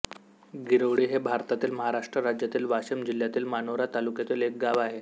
गिरोळी हे भारतातील महाराष्ट्र राज्यातील वाशिम जिल्ह्यातील मानोरा तालुक्यातील एक गाव आहे